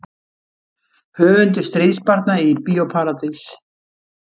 Höfundur Stríðsbarna í Bíó Paradís